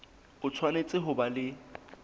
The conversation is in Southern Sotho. o tshwanetse ho ba le